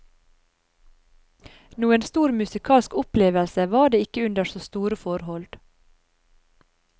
Noen stor musikalsk opplevelse var det ikke under så store forhold.